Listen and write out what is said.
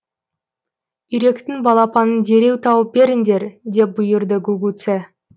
үйректің балапанын дереу тауып беріңдер деп бұйырды гугуцэ